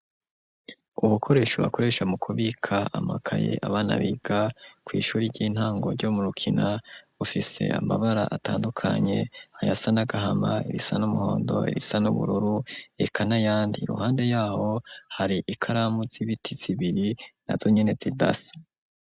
Ubukoresho bakoresha mu kubika amakaye abana biga kw'ishure ry'intango ryo mu Rukina bufise amabara atandukanye, ayasa n'agahama, irisa n'umuhondo, irisa n'ubururu reka n'ayandi, iruhande y'aho hari ikaramu z'ibiti zibiri, nazo nyene zidasa.